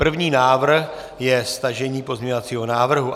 První návrh je stažení pozměňovacího návrhu.